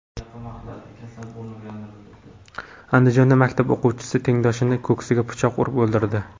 Andijonda maktab o‘quvchisi tengdoshini ko‘ksiga pichoq urib o‘ldirdi.